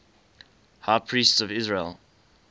high priests of israel